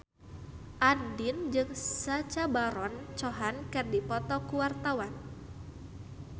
Andien jeung Sacha Baron Cohen keur dipoto ku wartawan